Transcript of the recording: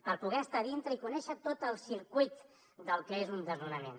per poder estar dintre i conèixer tot el circuit del que és un desnonament